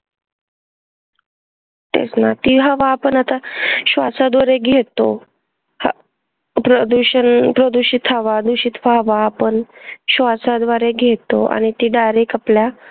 तेच ना ती हवा आपण आता श्वासाद्वारे घेतो हा प्रदूषण दुषित हवा दुषित हवा आपण श्वासाद्वारे घेतो आणि ती direct आपल्या